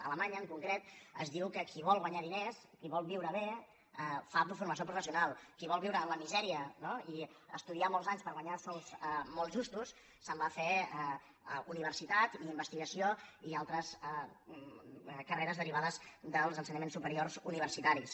a alemanya en concret es diu que qui vol guanyar diners qui vol viure bé fa formació professional qui vol viure en la misèria i estudiar molts anys per guanyar sous molt justos se’n va a fer universitat investigació i altres carreres derivades dels ensenyaments superiors universitaris